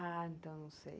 Ah, então não sei.